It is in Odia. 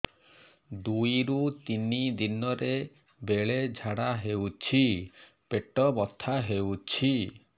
ଦୁଇରୁ ତିନି ଦିନରେ ବେଳେ ଝାଡ଼ା ହେଉଛି ପେଟ ବଥା ହେଉଛି